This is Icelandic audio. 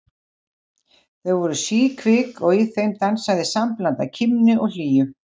Þau voru síkvik og í þeim dansaði sambland af kímni og hlýju.